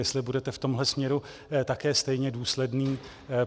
Jestli budete v tomhle směru také stejně důsledný.